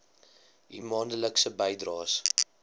u maandelikse bydraes